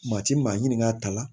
Maa ti maa ɲini ka ta la